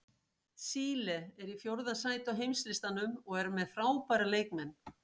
Síle er í fjórða sæti á heimslistanum og er með frábæra leikmenn.